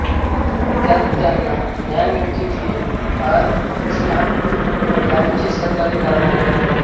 त्यात त्यांना न्यायमूर्ती व्ही आर कृष्णा यांचे सहकार्य लाभले होते